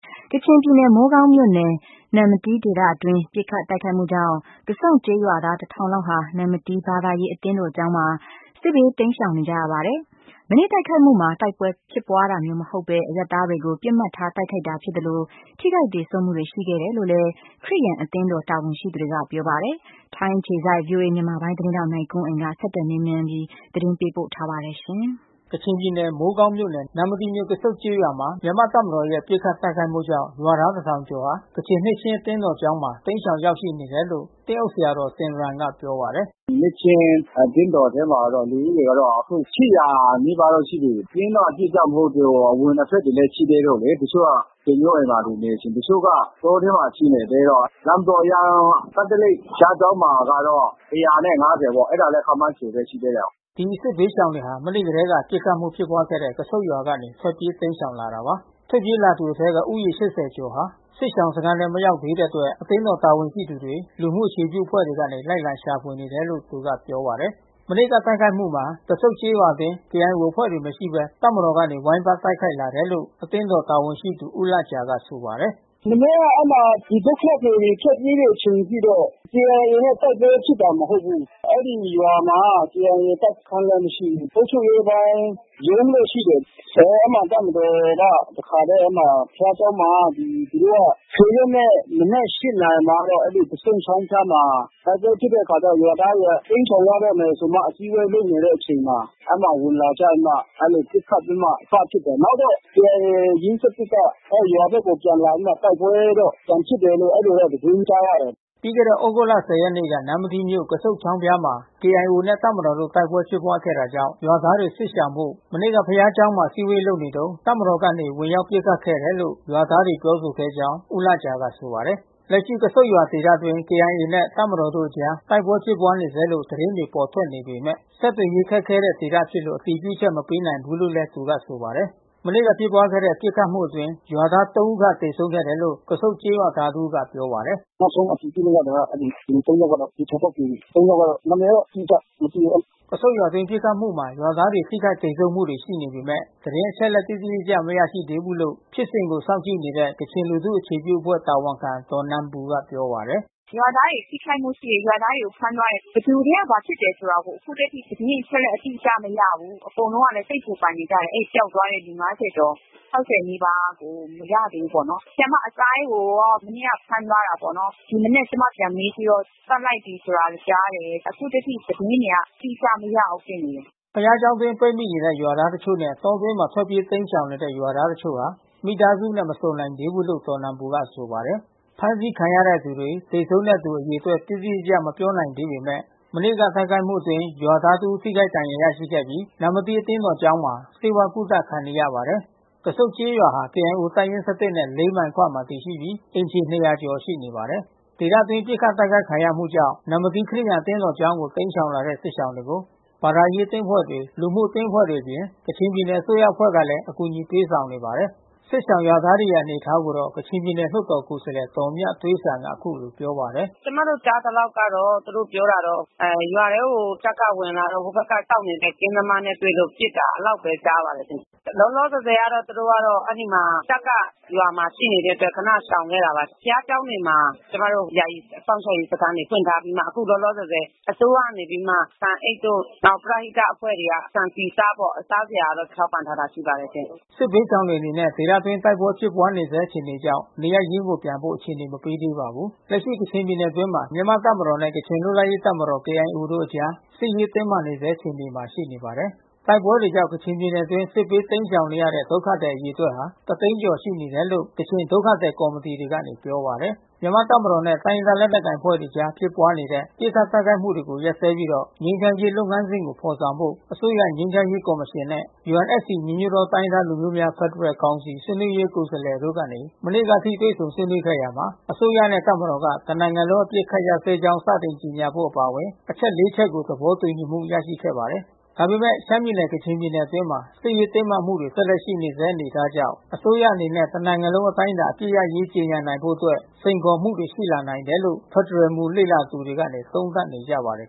ကချင်ပြည်နယ် မိုးကောင်းမြို့နယ် နမ္မတီးဒေသအတွင်း ပစ်ခတ်တိုက်ခိုက်မှုကြောင့် ကဆုန့်ကျေးရွာသား ခန့်ဟာ နမ္မတီးဘာသာရေးအသင်းတော်ကျောင်းမှာ စစ်ဘေးတိမ်းရှောင်နေရပါတယ်။ မနေ့ကတိုက်ခိုက်မှုမှာ တိုက်ပွဲဖြစ်ပွါးတာမျိုးမဟုတ် ဘဲ အရပ်သားတွေကို ပစ်မှတ်ထားတိုက်ခိုက်တာဖြစ်သလို ထိခိုက်သေဆုံးမှုတွေရှိခဲ့တယ်လို့လဲ ခရစ်ယာန်အသင်းတော် တာဝန်ရှိသူတွေကပြောပါတယ်။ ထိုင်းအခြေစိုက် ဗွီအိုအေသတင်းထောက်နိုင်ကွန်းအိန်ကနေ ဆက်သွယ်မေးမြန်းသတင်း ပေးပို့ထားပါတယ်။ ကချင်ပြည်နယ်မိုးကောင်းမြို့နယ် နမ္မတီးမြို့ ကဆုန့်ကျေးရွာမှာ မြန်မာ့တပ်မတော်ရဲ့ပစ်ခတ်တိုက်ခိုက်မှုကြောင့် ရွာသား ၁ထောင်ကျော်ဟာ ကချင်နှစ်ခြင်း အသင်းတော်ကျောင်းမှာ တိမ်းရှောင်ရောက်ရှိနေတယ်လို့ သင်းအုပ်ဆရာဆင်ရမ်က ပြောပါတယ်။ "နှစ်ချင်းအသင်းတော်ထဲမှာတော့ လူဦးရေကတော့ နီးပါးရှိနေပြီး စာရင်းတော့အတိအကျမဟုတ်သေးဘူး။ အဝင်အထွက်တွေ ရှိသေးလို့လေ။ တချို့ကဆွေမျိုးအိမ်မှာနေချင်တယ်။ တချို့က တောထဲမှာရှိနေသေးတော့။ နမ္မတီးကက်သလိတ်ဘုရား ကျောင်းမှာကတော့ ၁၅၀ပေါ့။ အဲတာလည်း ခန့်မှန်းခြေပဲ ရှိသေးတယ်။" ဒီစစ်ဘေးရှောင်တွေဟာ မနေ့ကတည်းက ပစ်ခတ်မှုဖြစ်ပွားခဲ့တဲ့ ကဆုန့်ရွာကနေ ထွက်ပြေးတိမ်းရှောင်လာတာပါ။ ထွက်ပြေးလာသူအထဲက ဦးရေ ကျော်ဟာ စစ်ရှောင်စခမ်းထဲမရောက်သေးတဲ့အတွက် အသင်းတော်ကတာဝန်ရှိသူတွေ လူမှုအခြေပြု အဖွဲ့တွေကနေ လိုက်လံရှာဖွေနေတယ်လို့ သူကပြောပါတယ်။ မနေ့ကတိုက်ခိုက်မှုမှာ ကဆုန့်ကျေးရွာအတွင်း KIOအဖွဲ့တွေမရှိဘဲ တပ်မတော်ကနေ ဝိုင်းပတ်တိုက်ခိုက်လာတယ်လို့ အသင်း တော်တာဝန်ရှိသူဦးလဂျာကဆိုပါတယ်။ "မနေ့ကအဲဒီမှာဒုက္ခသည်တွေထွက်ပြေးတဲ့အချိန်အထိတော့ KIAနဲ့ တိုက်ပွဲဖြစ်တာမဟုတ်ဘူး။ အဲဒီရွာမှာKIAတပ်စခမ်းလဲမရှိဘူး။ အုပ်ချုပ်ရေးပိုင်းရုံးတော့ရှိတယ်။ အဲဒီမှာတပ်မတာ်ကအဲဒီမှာ ဘုရားကျောင်းမှာသူတို့က ရက်နေ့မနက် နာရီမှာကတော့ ကဆုန့်ချောင်းဖျားမှာ တိုက်ပွဲဖြစ်တဲ့အခါကျတော့ရွာသားတွေကတိမ်းရှောင်ရတော့မယ်ဆိုမှ အစည်းဝေးလုပ်နေတဲ့အချိန်မှာ အဲမှာ ဝင်လာကြပြီးမှ အဲလိုပစ်ခတ်ပြီးမှစဖြစ်တယ်။ နောက်တော့KIOရင်း က ရွာဘက်ကိုပြန်လာပြီးမှ တိုက်ပွဲတော့ပြန်ဖြစ်တယ်လို့ အဲဒီလိုသတင်းကြားရတယ်။" ပြီးခဲ့တဲ့သြဂုတ် ရက်နေ့မှာ နမ္မတီးမြို့ ကဆုန့်ချောင်းဖျားမှာ KIOနဲ့တပ်မတော်တို့တိုက်ပွဲဖြစ်ပွါးခဲ့တာကြောင့် ရွာသားတွေ စစ်ရှောင်ဖို့ မနေ့ကဘုရားကျောင်းမှာ အစည်းဝေးလုပ်နေတုန်း တပ်မတော်ကနေဝင်ရောက်ပစ်ခတ်ခဲ့တယ်လို့ ရွာသားတွေ ပြောဆိုခဲ့ ကြောင်း ဦးလဂျာကဆိုပါတယ်။ လက်ရှိကဆုန့်ရွာဒေသအတွင်းKIOနဲ့တပ်မတော်တို့အကြား တိုက်ပွဲဖြစ်ပွါးနေဆဲလို့ သတင်းတွေပေါ်ထွက်နေပေမဲ့ ဆက်သွယ် ရေး ခက်ခဲတဲ့ဒေသဖြစ်လို့ အတည်ပြုချက်မပေးနိုင်ဘူးလို့လဲ သူကဆိုပါတယ်။ မနေ့ကဖြစ်ပွါးတဲ့ပစ်ခတ်မှုအတွင်း ရွာသား ဦးခန့်သေဆုံးခဲ့တယ်လို့ ကဆုန့်ကျေးရွာသားတဦးကပြောပါတယ်။ "နောက်ဆုံးအတည်ပြုချက်ရတာကတော့ လူ ယောက်ကတော့သေချာပေါက်သေပြီး။ သုံးယောက်ကတော့ နာမည်တော့ အတိ အကျမသိဘူး။" ကဆုန့်ရွာအတွင်းပစ်ခတ်မှုမှာ ရွာသားတွေထိခိုက်သေဆုံးမှုရှိနေပေမဲ့ သတင်းအချက်အလက်တိတိကျကျမရသေးဘူးလို့ ဖြစ်စဉ်ကို စောင့်ကြည့်နေတဲ့ ကချင်လူထုအခြေပြုအဖွဲ့တာဝန်ခံဒေါ်နန်ပူကပြောပါတယ်။ "ရွာသားတွေထိခိုက်မှုရှိတယ်။ ရွာသားတွေကိုဖမ်းသွားတယ်။ ဘယ်သူတွေကဘာဖြစ်တယ်ဆိုတာ အခုထက်ထိသတင်းအချက် အလက်မရဘူး။ အကုန်လုံးလဲစိတ်ပူပန်နေကြတယ်။ အဲဒီပျောက်သွားတဲ့ လူ ကျော် နီးပါးကိုမရသေးဘူးပေါ့နော်။ ဆရာမ အစိုင်းကို မနေ့ကဖမ်းသွားတာပေါ့နော်။ ဒီမနက်ကျွန်မပြန်မေးကြည့်တော့သတ်လိုက်ပြီးလို့ကြားတယ်။ အခုထက်ထိသတင်းတွေ အတိအကျမရဘူးဖြစ်နေတယ်။" ဘုရားကျောင်းအတွင်းပိတ်မိနေတဲ့ရွာသားတွေတချို့နဲ့ တောတွင်းမှာထွက်ပြေးတိမ်းရှောင်နေတဲ့ရွာသားတချို့ဟာ မိသားစုနဲ့ မဆုံ နိုင်သေးဘူးလို့ဒေါ်နန်ပူကဆိုပါတယ်။ ဖမ်းဆီးခံရတဲ့သူတွေသေဆုံးတဲ့သူ အရေအတွက်တိတိကျကျမပြောနိုင်သေးပေမဲ့ မနေ့ကတိုက်ခိုက်မှုအတွင်း ရွာသားတဦး ထိခိုက်ဒဏ်ရာရရှိခဲ့ပြီး နမ္မတီးအသင်းတော်ကျောင်းမှာ ဆေးဝါးကုသခံနေရပါတယ်။ ကဆုန့်ကျေးရွာဟာ KIOတပ်ရင်း နဲ့ မိုင်အကွာမှာတည်ရှိပြီးအိမ်ခြေ ကျော်ရှိနေပါတယ်။ ဒေသတွင်းပစ်ခတ်တိုက်ခိုက်ခံရမှုကြောင့် နမ္မတီခရစ်ယာန်အသင်းတော်ကျောင်းကိုတိမ်းရှောင်လာတဲ့စစ်ရှောင်တွေကို ဘာသာ ရေး အသင်းအဖွဲ့တွေ လူမှုရေးအသင်းအဖွဲ့တွေအပြင် ကချင်ပြည်နယ်အစိုးရအဖွဲ့တွေကလည်း အကူညီပေးဆောင်နေပါတယ်။ စစ်ရှောင်ရွာသားတွေရဲ့အနေအထားကိုတော့ ကချင်ပြည်နယ်လွှတ်တော်ကိုယ်စားလှယ် ဒေါ်မြသွေးစံကအခုလိုပြောပါတယ်။ "ကျွန်မတို့ကြားသလောက်ကတော့ သူတို့ပြောတာက ရွာထဲကို တပ်က ဝင်လာတော့ ဟိုဘက်ကစောင့်နေတဲ့ကင်းသမားနဲ့ တွေ့ လို့ ပစ်တာ အဲဒီလောက်ဘဲကြားပါတယ်။ လောလောဆယ်ဆယ်ကတော့ သူတို့ကအဲဒီမှာတပ်က ရွာမှာရှိနေတဲ့အတွက်ခဏ ရှောင်ခဲ့တာပါ။ ဘုရားကျောင်းတွေမှာ ကျွန်မတို့ ယာယီစောင့်ရှောက်ရေးစခမ်းတွေဖွင့်ထားပြီးမှ အခုလောလောဆယ်ဆယ် အစိုးရနေပြီးမှ ဆန်အိတ်တို့ နောက်ပရဟိတအဖွဲ့တွေက ဆန် ဆီ ဆားပေါ့။ စားစရာတော့ထောက်ပံ့ထားတာရှိပါတယ်ရှင့်။" စစ်ဘေးရှောင်တွေအနေနဲ့ ဒေသတွင်းတိုက်ပွဲဖြစ်ပွါးနေဆဲအခြေအနေကြောင့် နေရပ်ရင်းကိုပြန်ဖို့ အခြေအနေမပေးသေးပါဘူး။ လက်ရှိကချင်ပြည်နယ်အတွင်းမှာ မြန်မာ့တပ်မတော်နဲ့ကချင်လွတ်လပ်ရေးတပ်မတော်KIOတို့အကြား စစ်ရေးတင်းမာနေဆဲ အခြေအနေမှာ ရှိနေပါတယ်။ တိုက်ပွဲတွေကြောင့် ကချင်ပြည်နယ်အတွင်း စစ်ဘေးတိမ်းရှောင်နေရတဲ့ ဒုက္ခသည်အရေအတွက်တသိန်းကျော်ရှိနေတယ်လို့ ကချင်ဒုက္ခသည်ကော်မီတီတွေကနေပြောပါတယ်။ မြန်မာ့တပ်မတော်နဲ့ တိုင်းရင်းသားလက်နက်ကိုင်အဖွဲ့တွေအကြားဖြစ်ပွါးနေတဲ့ ပစ်ခတ်တိုက်ခိုက်မှုတွေကိုရပ်စဲပြီး ငြိမ်းချမ်းရေး လုပ်ငန်းစဉ်ကိုဖေါ်ဆောင်ဖို့ အစိုးရငြိမ်းချမ်းရေးကော်မရှင်နဲ့ UNFC ညီညွတ်သောတိုင်းရင်းသားလူမျိုးများဖက်ဒရယ်ကောင်စီ ဆွေးနွေးရေးကိုယ်စားလှယ်တို့ကနေ မနေ့ကအထိတွေ့ဆုံဆွေးနွေးခဲ့ရာမှာ အစိုးရနဲ့တပ်မတော်က တနိုင်ငံလုံးအပစ်အခတ် ရပ်စဲကြောင်း စတင်ကြေညာဖို့အပါအဝင်အချက် ချက်ကို သဘောတူညီမှုရရှိခဲ့ပါတယ်။ ဒါပေမဲ့ လက်ရှိရှမ်းပြည်နယ် ကချင်ပြည်နယ်အတွင်းမှာ စစ်ရေးတင်းမာမှုတွေ ဆက်လက်ရှိနေဆဲအနေအထားကြောင့် အစိုးရအနေနဲ့ တနိုင်ငံလုံး အတိုင်းအတာအပစ်ရပ်ရေးကြေညာနိုင်ဖို့အတွက် စိန်ခေါ်မှုတွေရှိလာနိုင်တယ်လို့ဖက်ဒရယ်မူလေ့လာသူ တွေ က သုံးသပ်နေကြပါတယ်